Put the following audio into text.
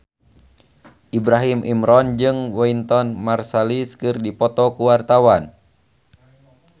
Ibrahim Imran jeung Wynton Marsalis keur dipoto ku wartawan